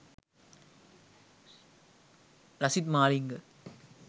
lasith malinga